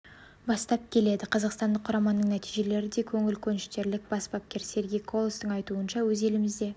бастап келеді қазақстандық құраманың нәтижелері де көңіл көншітерлік бас бапкер сергей колостың айтуынша өз елімізде